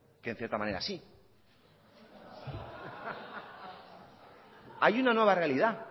que en cierta manera sí hay una nueva realidad